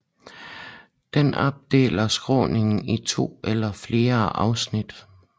Den opdeler skråningen i to eller flere afsnit